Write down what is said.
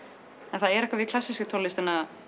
en það er eitthvað við klassísku tónlistina